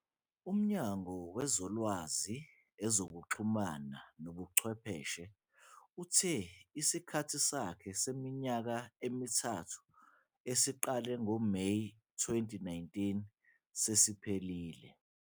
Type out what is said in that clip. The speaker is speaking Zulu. UMnyango Wezolwazi, Ezokuxhumana Nobuchwepheshe uthe isikhathi sakhe seminyaka emithathu esiqale ngoMeyi 2019 sesiphelile.